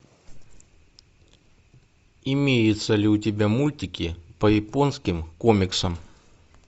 имеются ли у тебя мультики по японским комиксам